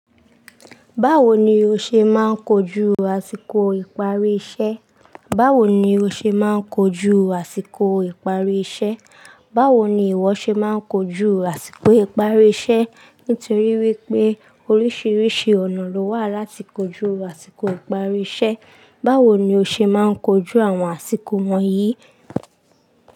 Bawo ni ose maa n koju asiko ipari ise. Báwo ni ìwọ ṣe máa ń kojú àsìkò ìparí iṣẹ́? Nítorí wípé oríṣiríṣi ọ̀nà ló wà láti kojú àsìkò ìparí iṣẹ́. Báwo ni o ṣe máa ń kojú àwọn àsìkò wọ̀nyí?